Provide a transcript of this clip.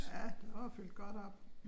Ja der var fyldt godt op